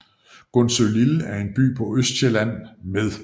Gundsølille er en by på Østsjælland med